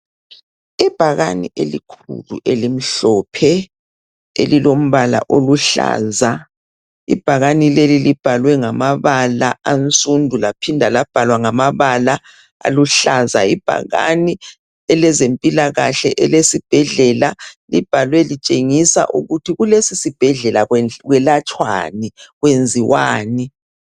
Ibhakani elikhulu elimhlophe elilombala oluhlaza ibhakani leli libhalwe ngamabala ansundu laphinda labhalwa ngamabala aluhlaza ibhakane elezempilakahle elesibhedlela libhalwe litshengisa ukuthi kulesisibhedlela kwelatshwani kwenziwani